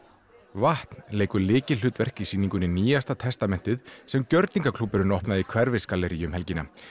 vatn leikur lykilhlutverk í sýningunni nýjasta testamentið sem opnaði í Hverfisgalleríi um helgina